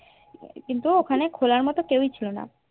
কিন্তু ওখানে খোলার মতো কেও এ ছিলোনা